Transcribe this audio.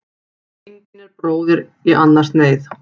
Engin er bróðir í annars neyð.